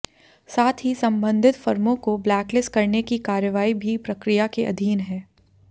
साथ ही संबंधित फर्मों को ब्लैक लिस्ट करने की कार्यवाही भी प्रक्रिया के अधीन है